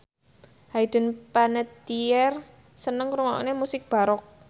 Hayden Panettiere seneng ngrungokne musik baroque